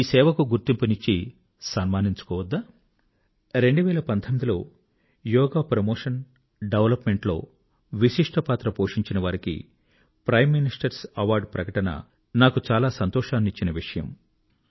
ఈ సేవకు గుర్తింపు నిచ్చి సన్మానించుకోవద్దా 2019 లో యోగా ప్రమోషన్ ఆండ్ డెవలప్మెంట్ లో విశిష్టపాత్ర పోషించినవారికి ప్రైమ్ ministerస్ అవార్డ్స్ ప్రకటన నాకు చాలా సంతోషాన్నిచ్చిన విషయం